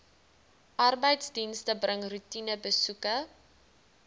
arbeidsdienste bring roetinebesoeke